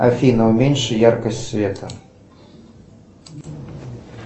афина уменьши яркость света